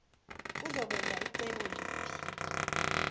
uzokwenza cebo liphi